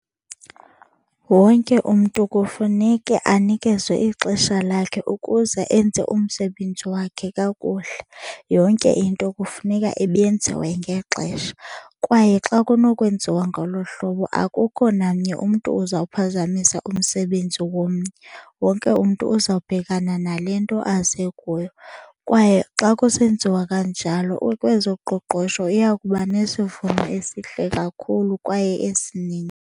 Wonke umntu kufuneke anikezwe ixesha lakhe ukuze enze umsebenzi wakhe kakuhle. Yonke into kufuneka ibenziwe ngexesha kwaye xa kunokwenziwa ngolo hlobo akukho namnye umntu ozawuphazamisa umsebenzi womnye. Wonke umntu uzawubhekana nale nto aze kuyo kwaye xa kusenziwa kanjalo kwezoqoqosho iya kuba nesivuno esihle kakhulu kwaye esininzi.